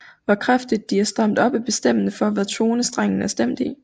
Hvor kraftigt de er stramt op er bestemmende for hvad tone strengen er stemt i